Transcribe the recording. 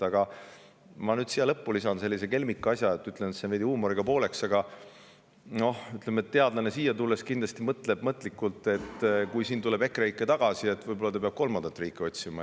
Aga ma nüüd siia lõppu lisan sellise kelmika asja – ütlen seda väikese huumoriga –, et teadlane siia tulles kindlasti mõtleb, et kui siin tuleb EKREIKE tagasi, siis võib-olla ta peab veel kolmandat riiki otsima.